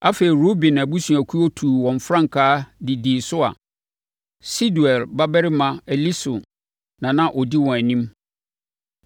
Afei, Ruben abusuakuo tuu wɔn frankaa de dii so a Sedeur babarima Elisur na na ɔdi wɔn anim.